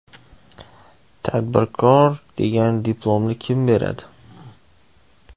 Tadbirkor degan diplomni kim beradi?